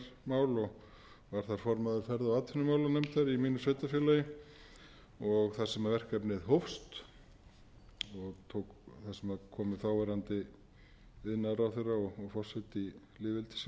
sveitarstjórnarmál og var þar formaður ferða og atvinnumálanefndar í mínu sveitarfélagi og þar sem verkefnið hófst ogtók þar sem komu þáverandi iðnaðarráðherra og forseti